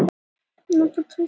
Tengsl eðlisviðnáms og jarðhita